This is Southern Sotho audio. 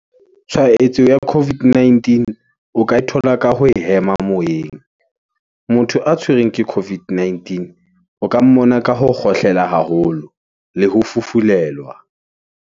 Tshwahetso ya COVID-19, o ka e thola ka ho hema moyeng . Motho a tshwerweng ke COVID-19, o ka mmona ka ho kgohlela haholo, le ho fufulelwa.